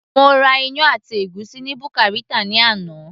mo ra iyán àti ègúsí ni buka Rita ni àná